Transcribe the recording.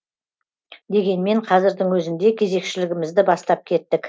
дегенмен қазірдің өзінде кезекшілігімізді бастап кеттік